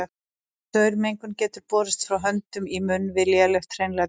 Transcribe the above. Saurmengun getur borist frá höndum í munn við lélegt hreinlæti.